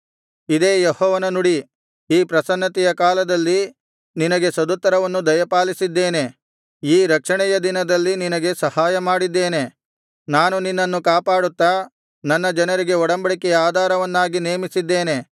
ಇದೇ ಯೆಹೋವನ ನುಡಿ ಈ ಪ್ರಸನ್ನತೆಯ ಕಾಲದಲ್ಲಿ ನಿನಗೆ ಸದುತ್ತರವನ್ನು ದಯಪಾಲಿಸಿದ್ದೇನೆ ಈ ರಕ್ಷಣೆಯ ದಿನದಲ್ಲಿ ನಿನಗೆ ಸಹಾಯಮಾಡಿದ್ದೇನೆ ನಾನು ನಿನ್ನನ್ನು ಕಾಪಾಡುತ್ತಾ ನನ್ನ ಜನರಿಗೆ ಒಡಂಬಡಿಕೆಯ ಆಧಾರವನ್ನಾಗಿ ನೇಮಿಸಿದ್ದೇನೆ